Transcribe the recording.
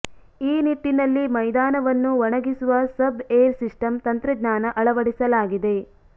ಈ ನಿಟ್ಟಿನಲ್ಲಿ ಮೈದಾನವನ್ನು ಒಣಗಿಸುವ ಸಬ್ ಏರ್ ಸಿಸ್ಟಂ ತಂತ್ರಜ್ಞಾನ ಅಳವಡಿಸಲಾಗಿದೆ